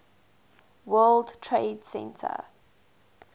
world trade center